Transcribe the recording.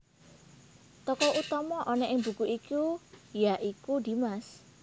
Tokoh utama ana ing buku iki ya iku Dimas